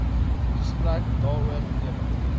gesprek daaroor ewe